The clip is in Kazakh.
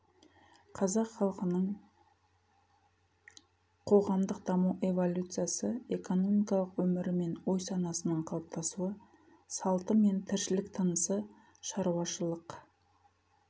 қазақ халқының қоғамдық даму эволюциясы экономикалық өмірі мен ой санасының қалыптасуы салты мен тіршілік тынысы шаруашылық